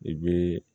I bɛ